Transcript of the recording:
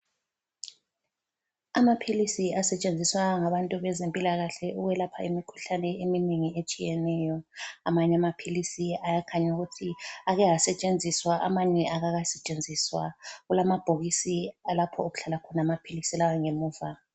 Amaphilisi asetshenziswa ngabantu bezempilakahle ukwelapha imikhuhlane eminengi etshiyeneyo. Amanye amaphilisi ayakhanya ukuthi ake asetshenziswa amanye akakasetshenziswa. Kulamabhokisi alapho okuhlala khona amaphilisi lawa ngemuva.